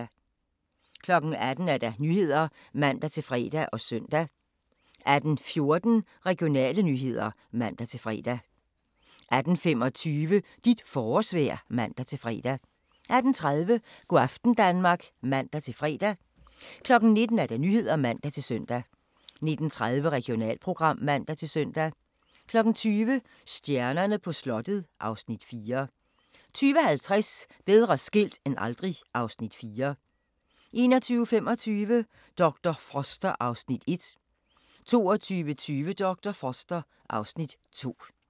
18:00: Nyhederne (man-fre og søn) 18:14: Regionale nyheder (man-fre) 18:25: Dit forårsvejr (man-fre) 18:30: Go' aften Danmark (man-fre) 19:00: Nyhederne (man-søn) 19:30: Regionalprogram (man-søn) 20:00: Stjernerne på slottet (Afs. 4) 20:50: Bedre skilt end aldrig (Afs. 4) 21:25: Dr. Foster (Afs. 1) 22:20: Dr. Foster (Afs. 2)